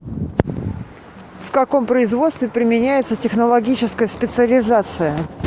в каком производстве применяется технологическая специализация